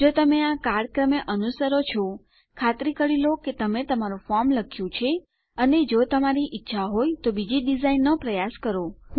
જો તમે આ કાળક્રમે અનુસરો છો ખાતરી કરી લો કે તમે તમારું ફોર્મ લખ્યું છે અને જો તમારી ઈચ્છા હોય તો બીજી ડીઝાઇનનો પ્રયાસ કરો